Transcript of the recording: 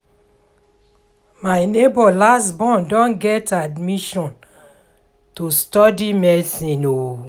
my nebor last born don get admission to study medicine o